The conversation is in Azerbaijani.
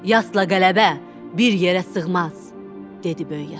Yadla qələbə bir yerə sığmaz, dedi Böyük ata.